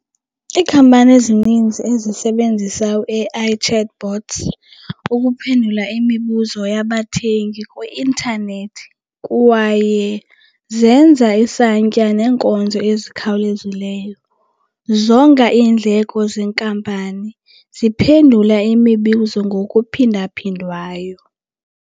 Iikhampani ezininzi ezisebenzisa u-A_I chatbots ukuphendula imibuzo yabathengi kwi-intanethi kwaye zenza isantya neenkonzo ezikhawulezileyo, zonga iindleko zenkampani, ziphendula imibuzo ngokuphindaphindwayo.